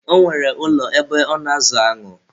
Ọ nwere ụlọ ebe ọ na-azụ aṅụ.